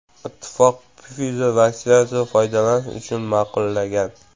Ittifoq Pfizer vaksinasini foydalanish uchun ma’qullagan .